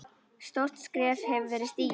Stórt skref hefur verið stigið.